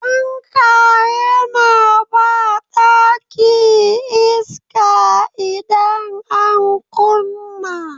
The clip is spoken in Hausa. Fanka yana ba ɗaki iska idan an kunna.